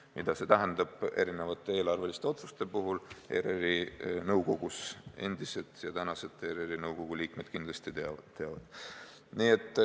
Seda, mida see tähendab erinevate eelarveliste otsuste puhul ERR-i nõukogus, endised ja tänased ERR-i nõukogu liikmed kindlasti teavad.